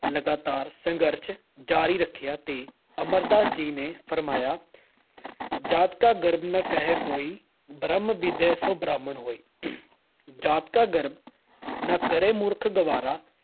ਲਗਾਤਾਰ ਸੰਘਰਸ਼ ਜਾਰੀ ਰੱਖਿਆ ਤੇ ਅਮਰਦਾਸ ਜੀ ਨੇ ਫਰਮਾਇਆ- ਜਾਤਿ ਕਾ ਗਰਬੁ ਨ ਕਰੀਅਹੁ ਕੋਈ ॥ ਬ੍ਰਹਮੁ ਬਿੰਦੇ ਸੋ ਬ੍ਰਾਹਮਣੁ ਹੋਈ ॥ ਜਾਤਿ ਕਾ ਗਰਬੁ ਨ ਕਰਿ ਮੂਰਖ ਗਵਾਰਾ ॥